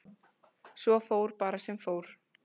Svo fór bara sem fór.